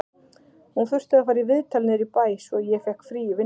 Hún þurfti að fara í viðtal niður í bæ, svo ég fékk frí í vinnunni